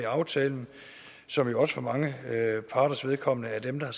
aftalen som jo også for mange parters vedkommende er dem der